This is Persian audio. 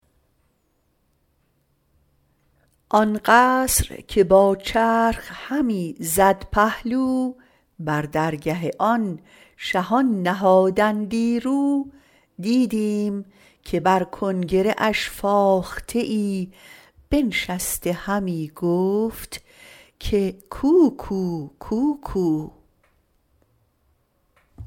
آن قصر که با چرخ همی زد پهلو بر درگه آن شهان نهادندی رو دیدیم که بر کنگره اش فاخته ای بنشسته همی گفت که کوکو کوکو